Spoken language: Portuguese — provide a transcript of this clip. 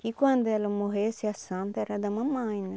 Que quando ela morresse a Santa era da mamãe, né?